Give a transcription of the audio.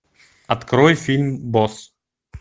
открой фильм босс